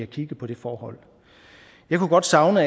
kigget på det forhold jeg kunne godt savne